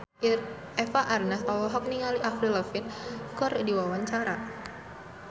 Eva Arnaz olohok ningali Avril Lavigne keur diwawancara